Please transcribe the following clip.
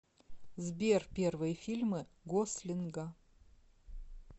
сбер первые фильмы гослинга